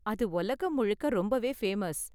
அது உலகம் முழுக்க ரொம்பவே ஃபேமஸ்.